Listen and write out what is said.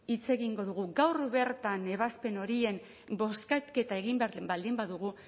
hitz egingo dugu gaur bertan ebazpen horiek bozketa egin behar baldin badugu